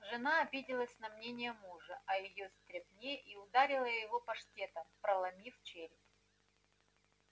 жена обиделась на мнение мужа о её стряпне и ударила его паштетом проломив череп